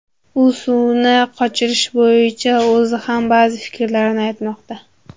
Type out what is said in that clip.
U suvni qochirish bo‘yicha o‘zi ham ba’zi fikrlarni aytmoqda.